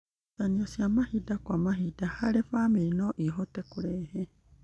Ngucanio cia mahinda kwa mahinda harĩ bamĩrĩ no ihote kũrehe